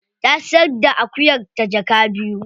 Ta siyar da akuyarta jaka biyu.